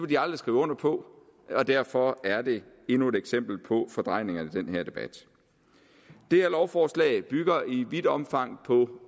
de aldrig skrive under på og derfor er det endnu et eksempel på fordrejningerne i den her debat det her lovforslag bygger i vidt omfang på